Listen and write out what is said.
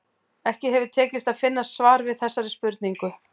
Ekki hefur tekist að finna svar við þessari spurningu.